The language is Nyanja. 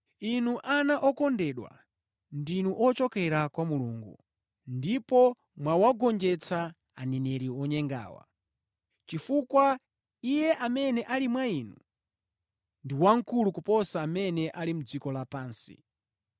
Inu ana okondedwa, ndinu ochokera kwa Mulungu ndipo mwawagonjetsa aneneri onyengawa, chifukwa Iye amene ali mwa inu ndi wamkulu kuposa amene ali mʼdziko lapansi.